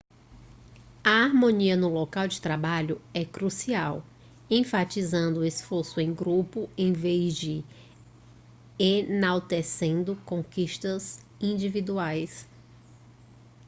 a harmonia no local de trabalho é crucial enfatizando o esforço em grupo em vez de enaltecendo conquistas individuais